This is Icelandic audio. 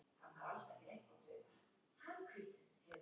Má ég ekki koma með þér heim og horfa á sjón- varpið?